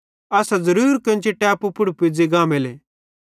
असां ज़रूर केन्ची टेपू पुड़ पुज़ी गांमेले